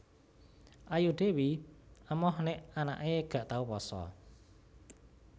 Ayu Dewi emoh nek anake gak tau poso